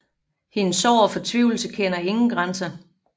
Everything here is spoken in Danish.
Hendes sorg og fortvivlelse kender ingen grænser